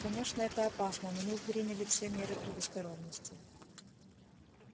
конечно это опасно но мы приняли все меры предосторожности